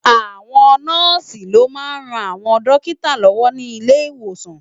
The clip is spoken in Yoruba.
Àwón Nòsi lò má n ròn áwòn dókitá lòwò ni ilé Iwósán